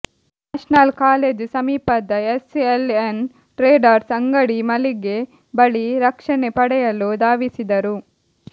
national college ಸಮೀಪದ SLN traders ಅಂಗಡಿ ಮಳಿಗೆ ಬಳಿ ರಕ್ಷಣೆ ಪಡೆಯಲು ಧಾವಿಸಿದರು